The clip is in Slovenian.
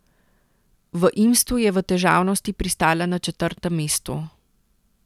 V Imstu je v težavnosti pristala na četrtem mestu.